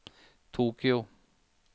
Tokyo